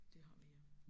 Det har vi ja